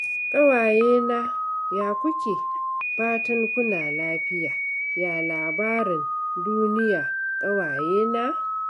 Ƙawayena ya kuke? Fatan kuna lafiya, ya labarin duniya ƙawayena?